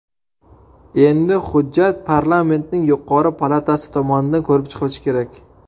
Endi hujjat parlamentning yuqori palatasi tomonidan ko‘rib chiqilishi kerak.